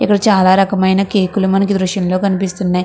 ఈరోజు చాలా రకమైన కేకులు మనకు దృశ్యంలో కనిపిస్తున్నయ్.